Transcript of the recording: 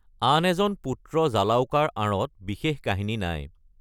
আন এজন পুত্ৰ জালাউকাৰ আঁৰত বিশেষ কাহিনী নাই।